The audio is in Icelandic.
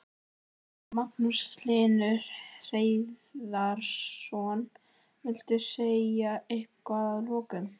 Magnús Hlynur Hreiðarsson: Viltu segja eitthvað að lokum?